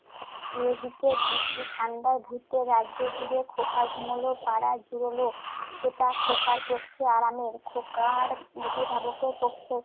এদিকে গুড্ডি ঠান্ডায় ভুতের রাজ্যজুড়ে খোকা ঘুমুলো পাড়া জুড়োলো। এটা খোকার পক্ষে আরামের। খোকার অভিভাবকের পক্ষে